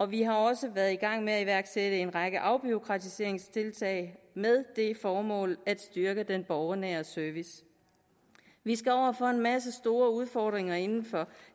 vi har også været i gang med at iværksætte en række afbureaukratiseringstiltag med det formål at styrke den borgernære service vi står over for en masse store udfordringer inden for